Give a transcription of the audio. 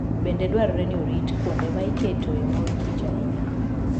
Bende dwarore ni orit kuonde ma iketoe mor kich ahinya.